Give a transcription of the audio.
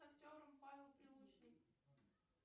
с актером павел прилучный